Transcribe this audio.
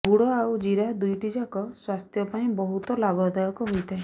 ଗୁଡ଼ ଆଉ ଜିରା ଦୁଇଟିଯାକ ସ୍ୱାସ୍ଥ୍ୟ ପାଇଁ ବହୁତ ଲାଭଦାୟକ ହୋଇଥାଏ